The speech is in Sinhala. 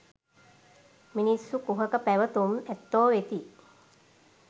මිනිස්සු කුහක පැවැතුම් ඇත්තෝ වෙති.